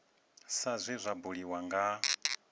sa zwe zwa buliwa nga